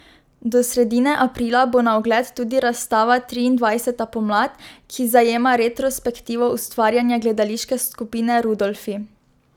Do sredine aprila bo na ogled tudi razstava Triindvajseta pomlad, ki zajema retrospektivo ustvarjanja Gledališke skupine Rudolfi.